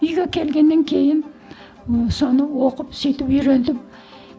үйге келгеннен кейін соны оқып сөйтіп үйрендім